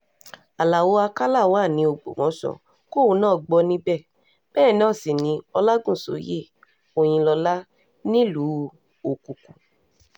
alao akala wà ní um ògbómọ̀ṣọ́ kóun náà gbọ́ níbẹ̀ bẹ́ẹ̀ náà sì um ni ọlágúnsọ̀yé òyìnlọ́lá nílùú òkùkù